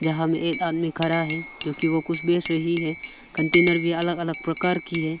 यहां में एक आदमी खड़ा है क्योंकि वो कुछ बेच रही है कंटेनर भी अलग अलग प्रकार की है।